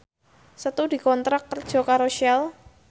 Setu dikontrak kerja karo Shell